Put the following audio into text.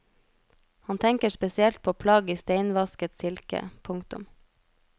Han tenker spesielt på plagg i steinvasket silke. punktum